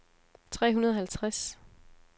tre hundrede og halvtreds